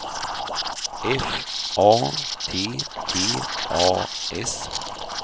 F A T T A S